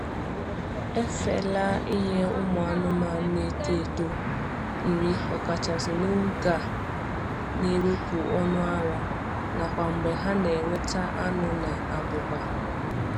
Efela inye ụmụ anụmanụ na-eto eto nri, ọkachasị n'oge a na-ewepụ ọnụ ara, nakwa mgbe ha na ewneta anu na abụba.